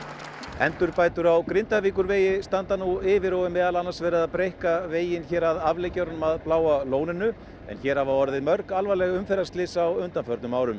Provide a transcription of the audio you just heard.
endurbætur á Grindavíkurvegi standa nú yfir og er meðal annars verið að breikka veginn hér að afleggjaranum að Bláa lóninu en hér hafa orðið mörg alvarleg umferðarslys á undanförnum árum